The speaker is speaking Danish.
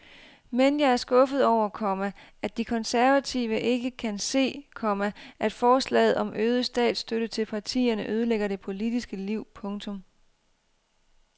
Men jeg er skuffet over, komma at de konservative ikke kan se, komma at forslaget om øget statsstøtte til partierne ødelægger det politiske liv. punktum